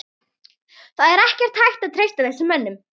Það er ekkert hægt að treysta þessum mönnum.